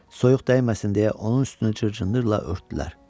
Soyuq dəyməsin deyə onun üstünə cır-cındırla örtdülər.